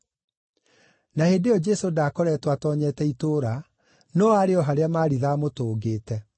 Na hĩndĩ ĩyo Jesũ ndaakoretwo atoonyete itũũra, no aarĩ o harĩa Maritha aamũtũngĩte.